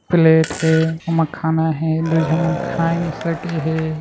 Plate हे ओमा खाना हे रखें हैं।